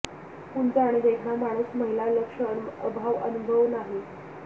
उंच आणि देखणा माणूस महिला लक्ष अभाव अनुभव नाही